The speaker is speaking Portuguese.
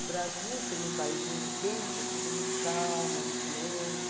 O Brasil, sendo um país muito quente, é tudo muito calmo, muito lento.